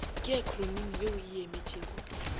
ke akhronimi ye e emetšego